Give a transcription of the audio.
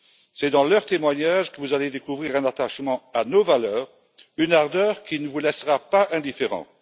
C'est dans leur témoignage que vous allez découvrir un attachement à nos valeurs, une ardeur qui ne vous laissera pas indifférents.